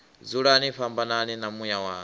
dzulani fhambanani na muya wanga